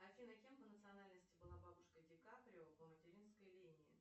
афина кем по национальности была бабушка ди каприо по материнской линии